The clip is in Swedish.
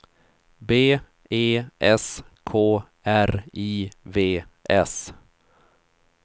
B E S K R I V S